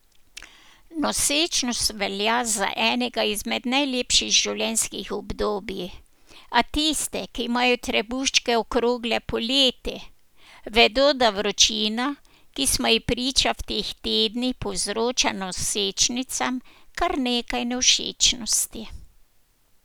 Nosečnost velja za enega izmed najlepših življenjskih obdobij, a tiste, ki imajo trebuščke okrogle poleti, vedo, da vročina, ki smo ji priča v teh tednih, povzroča nosečnicam kar nekaj nevšečnosti.